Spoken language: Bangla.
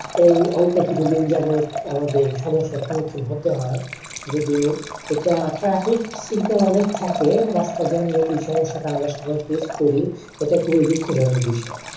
এই অল্প কিছুদিন যাবত আমাদের সমস্যার সম্মুখীন হতে হয়। যদিও এটা traffic signal অনেক থাকে। রাস্তায় যানজট এই সমস্যাটা আমরা সবাই face করি। ইটা খুবই দুঃখজনক বিষয়।